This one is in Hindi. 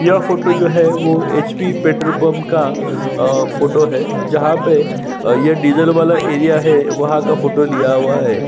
यह फोटो जो है वो एचपी पेट्रोल पंप का फोटो है जहाँ पे अ ये डीज़ल वाला एरिया है वहाँ का फोटो लिया हुआ है ।